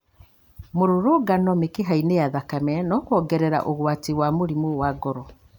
Mũrũrũngano mĩkihainĩ ya thakame, na kwongerera ũgwati wa mũrimũ wa ngoro.